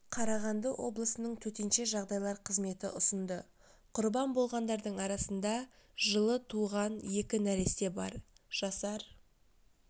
қарағанды облысының төтенше жағдайлар қызметі ұсынды құрбан болғандардың арасында жылы туған екі нәресте бар жасар